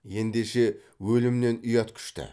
ендеше өлімнен ұят күшті